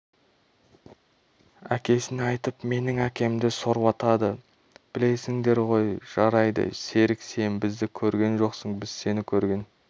әкесіне айтып менің әкемді сорлатады білесіңдер ғой жарайды серік сен бізді көрген жоқсың біз сені көрген